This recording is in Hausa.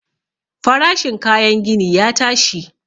Farashin kayan gini ya tashi.